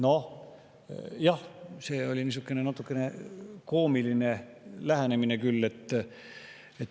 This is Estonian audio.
Noh, jah, see oli natukene koomiline lähenemine.